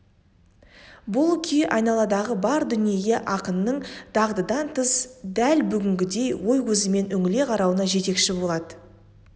бұл күй айналадағы бар дүниеге ақынның дағдыдан тыс дәл бүгінгідей ой көзімен үңіле қарауына жетекші болады